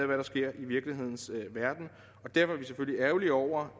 der sker i virkelighedens verden derfor er vi selvfølgelig ærgerlige over